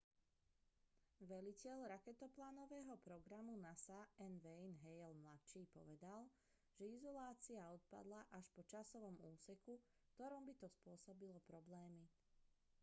veliteľ raketoplánového programu nasa n wayne hale mladší povedal že izolácia odpadla až po časovom úseku v ktorom by to spôsobilo problémy